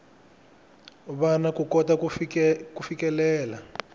vana ku kota ku fikelela